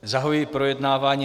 Zahajuji projednávání